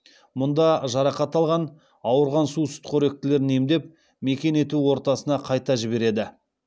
мұнда жарақат алған ауырған су сүтқоректілерін емдеп мекен ету ортасына қайта жібереді